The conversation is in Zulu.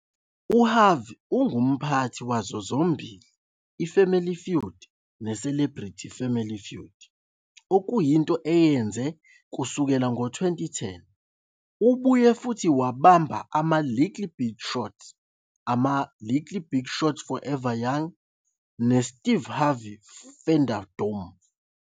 UHarvey ungumphathi wazo zombili "iFamily Feud" ne- "Celebrity Family Feud", okuyinto ayenze kusukela ngo-2010. Ubuye futhi wabamba ama- "Little Big Shots", ama- "Little Big Shots Forever Young", ne- "Steve Harvey's Funderdome".